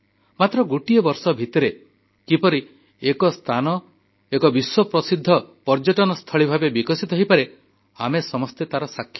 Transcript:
ମାତ୍ର ଗୋଟିଏ ବର୍ଷ ଭିତରେ କିପରି ଗୋଟିଏ ସ୍ଥାନ ଏକ ବିଶ୍ୱପ୍ରସିଦ୍ଧ ପର୍ଯ୍ୟଟନସ୍ଥଳୀ ଭାବେ ବିକଶିତ ହୋଇପାରେ ଆମେ ସମସ୍ତେ ତାର ସାକ୍ଷୀ